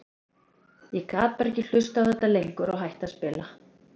Ég gat bara ekki hlustað á þetta lengur og hætti að spila.